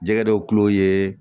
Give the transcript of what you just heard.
Jɛgɛ dɔw kulo ye